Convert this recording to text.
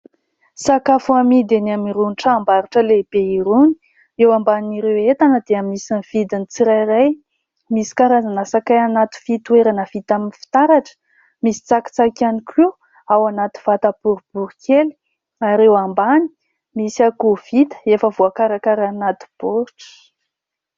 Sakafo amidy eny amin irony tranom-barotra lehibe irony. Eo amban'ireo entana dia misy ny vidin'ny tsirairay, misy karazana sakay anaty fitoerana vita amin'ny fitaratra, misy tsakitsaky ihany koa ao anaty vataboribory kely ary eo ambany misy akoho vita efa voakaraka ry anaty baoritra.